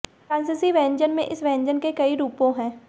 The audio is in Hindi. फ्रांसीसी भोजन में इस व्यंजन के कई रूपों हैं